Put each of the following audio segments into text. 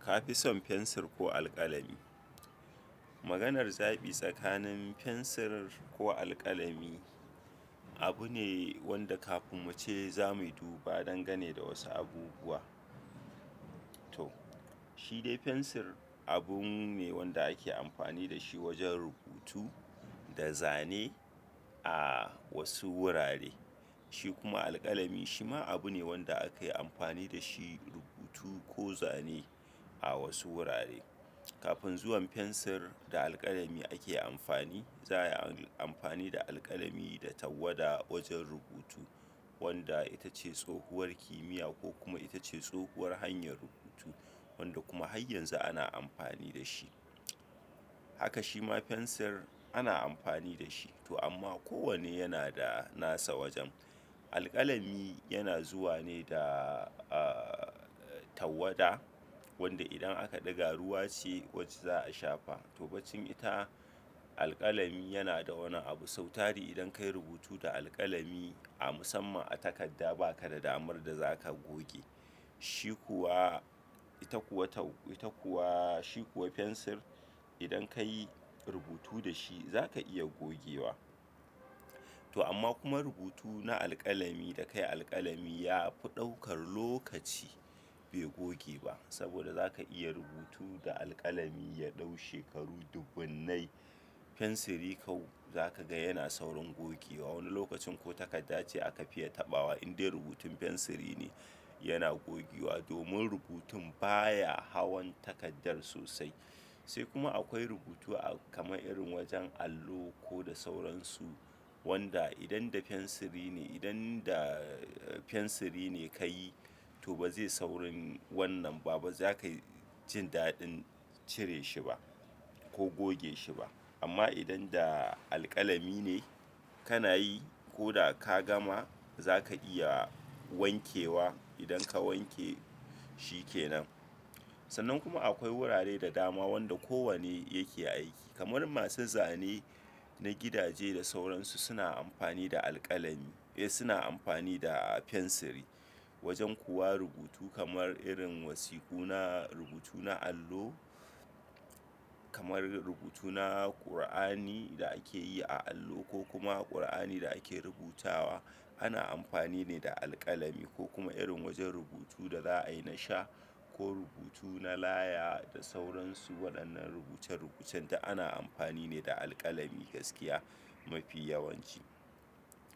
Ka fi son fensir ko alkalami? Maganar zaɓi tsakanin fensir ko alkalami abu ne wanda kafin muce zamuyi duba dangane da wasu abubuwa. To, shi dai fensir abunne wanda ake amfani da shi wajen rubutu da zane a wasu wurare. Shi kuma alkalami shi ma abu ne wanda ake yi amfani da shi; rubutu ko zane a wasu wurare. Kafin zuwan fensir da alkalami ake amfani, za a yi amfani da alkalami da tawwada wajen rubutu wadda ita ce tsohuwar kimiyya ko kuma ita ce tsohuwar hanyar rubutu wadda kuma har yanzu ana amfani da shi. Haka shi ma fensir ana amfani da shi. To amma ko wanne yana da nasa wajen. Alkalami yana zuwa ne da, ah, tawwada wanda idan aka ɗiga ruwa ce wacce za a shafa. To, bancin ita alkalami yana da wani abu sautari idan ka yi rubutu da alkalami a musamman a takarda ba ka da damar da za ka goge shi Shi kuwa, ita kuwa tau-- ita kuwa, shi kuwa fensir idan ka yi rubutu da shi za ka iya gogewa. To amma kuma rubutu na alkalami da kayi alkalami ya fi ɗaukar lokaci bai goge ba saboda za ka iya rubutu da alkalami ya ɗau shekaru dubunnai. Fensiri kau-- za ka ga yana saurin gogewa. Wani lokacin ko takarda ce aka fiya taɓawa in dai rubutun fensiri ne yana gogewa domin rubutun baya hawan takardar sosai. Sai kuma akwai rubutu a kamar irin wajen allo ko da sauransu wanda idan da fensiri ne, idan da fensiri ne ka yi to ba zai saurin wannan ba. Ba za ka yi jin daɗin cire shi ba ko goge shi ba. Amma idan da alkalami ne kana yi ko da ka gama za ka iya wankewa idan ka wanke shi ke nan. Sannan kuma akwai wurare da dama wanda kowanne yake aiki. Kamar masu zane na gidaje da sauransu suna amfani da alkalami, eh, suna amfani da fensiri. Wajen kuwa rubutu kamar irin wasiku na rubutu na allo, kamar rubutu na Kur'ani da ake yi a allo ko kuma Kur'ani da ake rubutawa ana amfani ne da alkalami ko kuma irin wajen rubutu da za a yi na sha ko rubutu na laya da sauransu. Waɗannan rubuce-rubucen duk ana amfani ne da alkalami gaskiya mafi yawanci.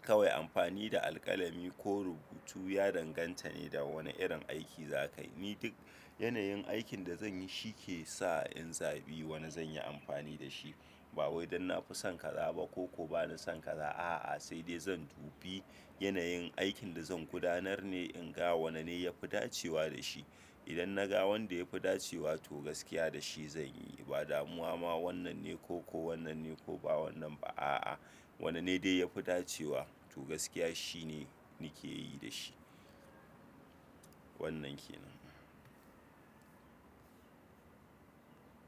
Kawai amfani da alkalami ko rubutu ya danganta ne da wane irin aiki za ka yi. Ni duk yanayin aikin da zan yi shi ke sa in zaɓi wane zan yi amfani da shi. Ba wai idan na fi son ka za ba koko ba na son ka za a'a, sai dai zan dubi yanayin aikin da zan gudanar ne in ga wanene ya fi dacewa da shi. Idan na ga wanda ya fi dacewa to gaskiya da shi zan yi. Ba damuwa ma wannan ne ko, ko wannan ne ko ba wannan ba a'a. Wanene dai ya fi dacewa to gaskiya shi ne nake yi da shi. Wannan ke nan.